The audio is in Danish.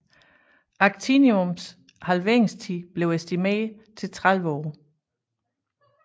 Actiniums halveringstid blev estimeret til 30 år